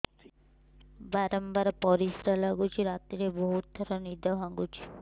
ବାରମ୍ବାର ପରିଶ୍ରା ଲାଗୁଚି ରାତିରେ ବହୁତ ଥର ନିଦ ଭାଙ୍ଗୁଛି